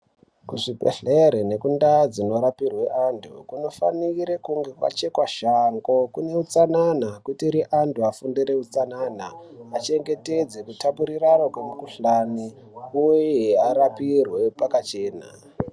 Kuzvibhedhleri nekundaa dzinorapwe antu kunofanire kunge kwachekwa shango kune utsanana kuitire antu afundire utsanana achengetedze kutapurirana kwemikuhlani uye arapirwe pakachena.